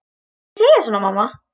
Ekki segja svona, mamma.